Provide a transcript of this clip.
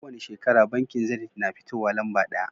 Kowani shekara bankin zenit na fitowa lamba daya